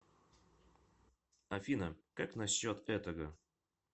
афина как на счет этого